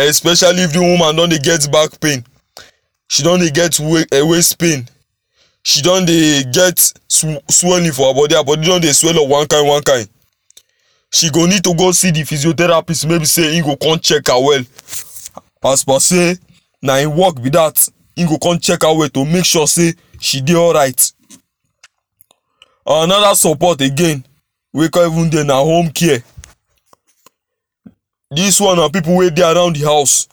especially if the woman don dey get back pain she don dey get waist waist pain she don dey get swelling for her body, her body don dey swell up one kain kain she go need to go see the physiotheraphist wey be say im go con check her well as per sey na im work be that im go con chek her well to make sure sey she dey alright anoda support again wey con even dey na home care this one na pipu wey dey around the house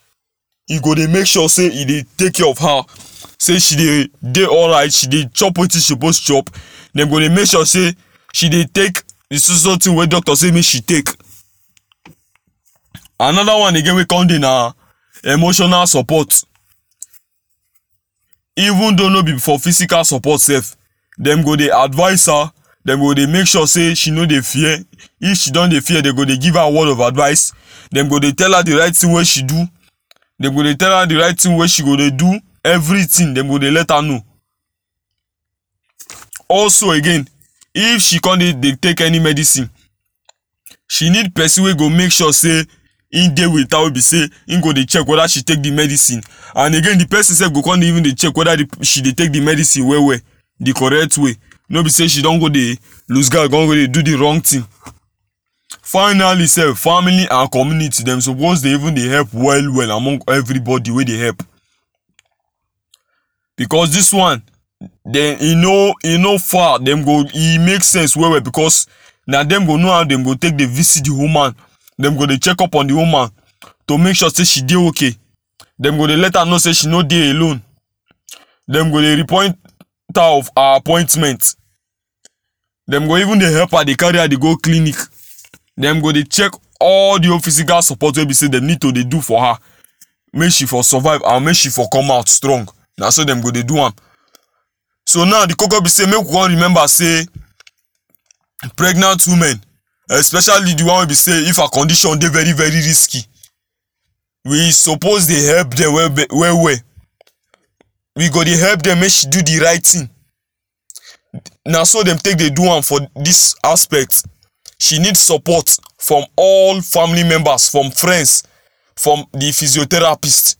e go dey make sure e dey take care of her sey she dey dey alright she dey chop wetin she suppose chop dey go dey make sure sey she dey take the so so so thing wey doctor say make she take another one again wey con dey na emotional support even though no be for physical support sef them go dey advice her them go dey make sure say she no dey fear if she don dey fear them go dey give her word of advice them go dey tell her the right thing wey she do them go dey tell her the right thng wey she go dey do everything them go dey let her know also again if she con dey take any medicine she need person wey go make sure say im dey with her wey be say im go dey check whether she take the medicine and again the person sef go come even dey check whether she dey take the medicine well well the correct way no be say she don go dey loose guard con go dey do the wrong thing finally sef family and community them suppose dey even dey help well well among everybody wey dey help because this one dem e no e no far dem go e make sense well well because na dem go know how dem go take dey visit the woman dem go dey check up on the woman to make sure say she dey okay dem go dey let her know sey she no dey alone dem go dey repoint her of her appointment dem go even dey help her dey carry her dey go clinic dem go dey check all the whole physical support wey be say dem need to dey do for her make she for survive and make she for come out strong naso them go dey do am so now the koko be say make we all remember say pregnant women especially the one wey be say if her condition dey very very risky we suppose dey help dem well well we do dey help dem make she do the right thing naso them take dey do am for this aspect she need support from all family members from friends from the physiotherapist.